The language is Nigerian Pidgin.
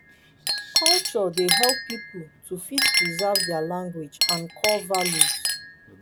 culture dey help pipo to fit preserve their language and core values